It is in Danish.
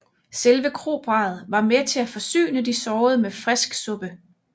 Selve kroparret var med til at forsyne de sårende med frisk suppe